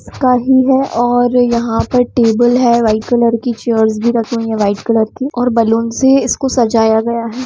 इसका ही है ओर यह पर टेबल है व्हाइट कलर की चेयरस भी रखी हुई है व्हाइट कलर की और बलून से ही इसको सजाय गया है।